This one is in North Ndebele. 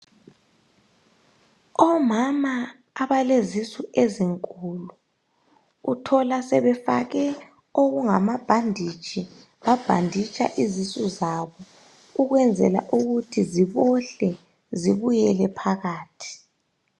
Omama abalezisu ezinkulu uthola sebefake amabhanditshi babhanditsha izisu zabo ukwenzela ukuthi zibohle zibuyele phakathi